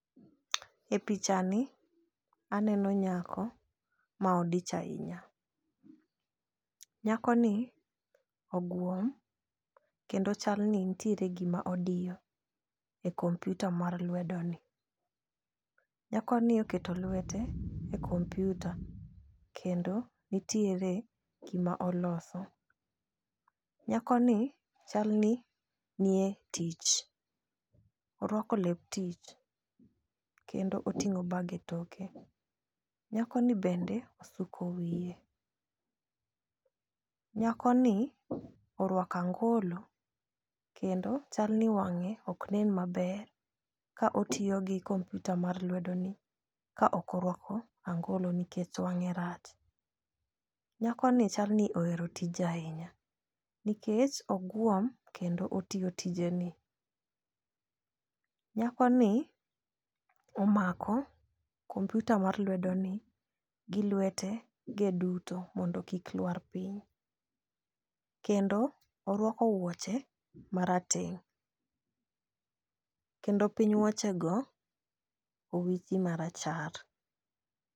E picha ni aneno nyako ma odich ahinya. Nyako ni ogwom kendo chal ni ntiere gima odiyo e komputa mar lwedo ni. Nyako ni oketo lwete e kompyuta kendo nitiere gima oloso. Nyako ni chal ni nie tich orwako lep tich kendo oting'o bag e toke. Nyako ni bende osuko wiye, nyako ni orwako angolo kendo chal ni wang'e ok nen maber ka otiyo gi kompyuta mar lwedo ni ka ok orwako angolo nikech wang'e rach. Nyako ni chal ni ohero tije ahinya nikech ogwom kendo otiyo tije ne. Nyako ni omako komputa mar lwedo ni gi lwete ge duto mondo kik lwar piny kendo orwako wuoche marateng' kendo piny wuoche go owichi marachar.